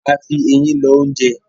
A fí Eyín lọ oúnjẹ